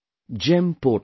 GEM portal